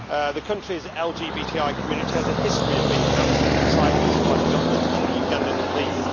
The country's LGBTI community has a history of being harassed and silenced by the government and the Ugandan police.